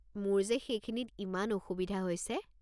মোৰ যে সেইখিনিত ইমান অসুবিধা হৈছে।